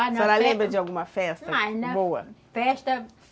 A senhora lembra de alguma festa boa?